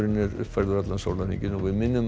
er uppfærður allan sólarhringinn við minnum